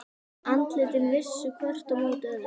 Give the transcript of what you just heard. Andlitin vissu hvert á móti öðru.